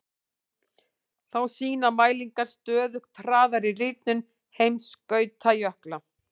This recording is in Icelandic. Þá sýna mælingar stöðugt hraðari rýrnun heimskautajökla.